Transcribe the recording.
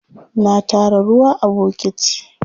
Na tara ruwa a bokiti.